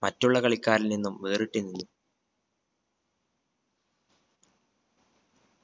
മറ്റുള്ള കളിക്കാരിൽ നിന്നും വേറിട്ട് നിന്നു